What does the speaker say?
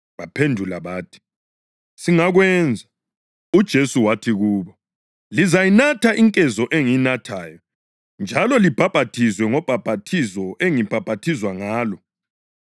Baphendula bathi, “Singakwenza.” UJesu wathi kubo, “Lizayinatha inkezo engiyinathayo njalo libhaphathizwe ngobhaphathizo engibhaphathizwa ngalo,